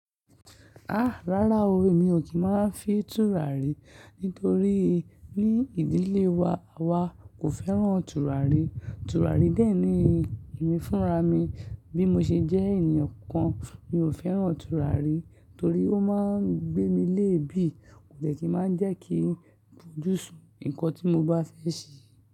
Ah! Rárá o, èmi ò kí máa fi tùràrí, nítorí ní ìdílé wa, àwa kò fẹ́ràn tùràrí. Tùràrí dẹ́ẹ̀ni èmi fúnra mi, bí mo ṣe jẹ́ ènìyàn kan, mi ò fẹ́ràn tùràrí torí ó máa ń gbé mi léèébì, kò jẹ́ kí máa jẹ́ kí fojú sùn nǹkan tí mo bá fẹ́ ṣe.